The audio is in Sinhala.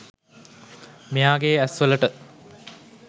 මෙයාගේ ඇස්වලට